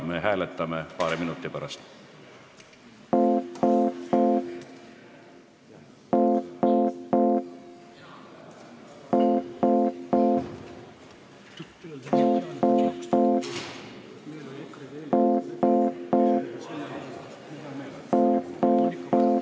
Me hääletame seda paari minuti pärast.